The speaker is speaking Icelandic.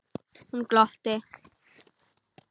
Hún glotti.